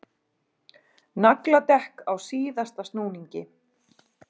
Nagladekk á síðasta snúningi